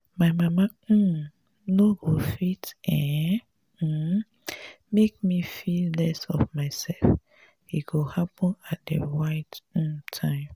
my mama um no go fit um um make me feel less of myself e go happen at the right um time